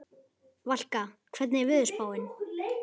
Valka, hvernig er veðurspáin?